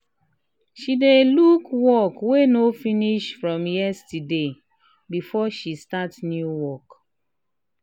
she dey look um work wey no finish from yesterday um before she start new work.